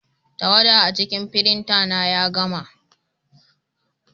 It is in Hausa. Tawada a cikin firinta ya gama.